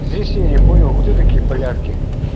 здесь я не понял кто такие полярки